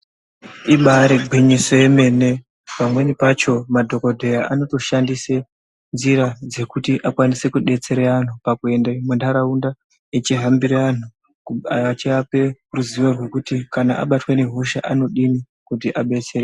Ibari gwinyiso yemene pamweni pacho madhokodheya anotoshandise nzira dzekuti akwanise kudetsera antu pakuende muntaraunda achihambirw antu echivape ruzivo rwokuti kana abatwe nehosha anodini kuti abetsereke.